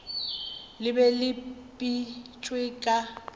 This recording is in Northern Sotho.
le be le bipetšwe ka